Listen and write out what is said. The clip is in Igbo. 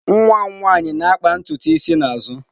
Nwa m nwanyị na-akpa ntutu isi n'azụ.